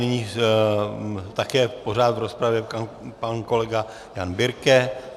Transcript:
Nyní také pořád v rozpravě pan kolega Jan Birke.